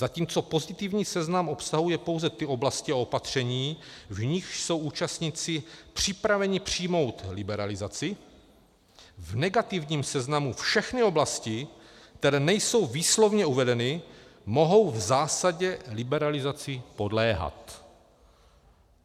Zatímco pozitivní seznam obsahuje pouze ty oblasti a opatření, v nichž jsou účastníci připraveni přijmout liberalizaci, v negativním seznamu všechny oblasti, které nejsou výslovně uvedeny, mohou v zásadě liberalizaci podléhat.